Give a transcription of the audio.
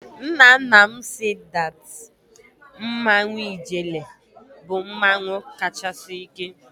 Nna nna m said that Mmanwụ Ijele bụ mmanwụ kachasị ike.